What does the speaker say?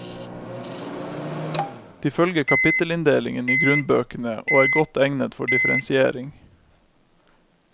De følger kapittelinndelingen i grunnbøkene og er godt egnet for differensiering.